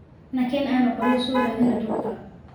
Nakeen aanu qoryo so radine dhurka